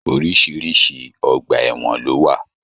Oríṣiríṣi ọgbà ẹwọn lo wà.